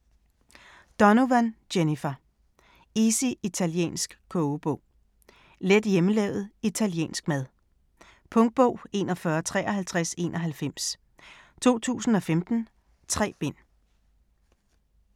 Donovan, Jennifer: Easy italiensk kogebog Let hjemmelavet italiensk mad. Punktbog 415391 2015. 3 bind.